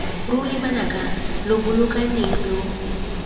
ruri banaka lo bolokaneng lo